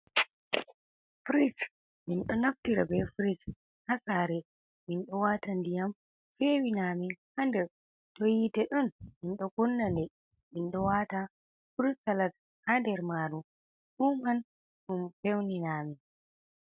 Frij minɗo naftira be frij hasare, mindo wata ndiyam fewi namin hander to yite ɗon minɗo kunnane minwatan furusalat ha nder maru fuman ɗum feunina amin.